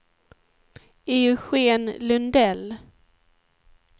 Eugén Lundell